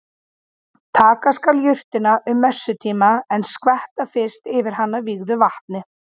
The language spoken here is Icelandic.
Taka skal jurtina um messutíma en skvetta fyrst yfir hana vígðu vatni.